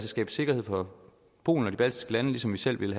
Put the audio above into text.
skabe sikkerhed for polen og de baltiske lande ligesom vi selv ville